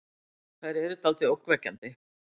Þær eru dáldið ógnvekjandi.